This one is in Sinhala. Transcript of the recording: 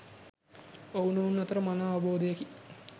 ඔව්නොවුන් අතර මනා අවබෝධයකි